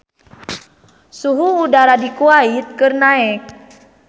Suhu udara di Kuwait keur naek